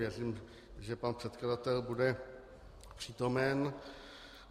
Věřím, že pan předkladatel bude přítomen.